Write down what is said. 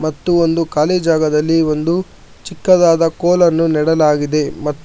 ಒಂದು ಖಾಲಿ ಜಾಗದಲ್ಲಿ ಒಂದು ಚಿಕ್ಕದಾದ ಕೋಲನ್ನು ನೀಡಲಾಗಿದೆ ಮತ್ತು--